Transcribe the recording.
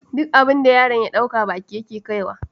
Duk abin da yaron ya ɗauka baki yake kaiwa